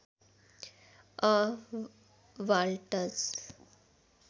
a waltz